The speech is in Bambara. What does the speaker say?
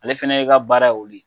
Ale fɛnɛ ye ka baara ye olu ye